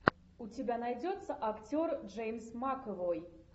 у тебя найдется актер джеймс макэвой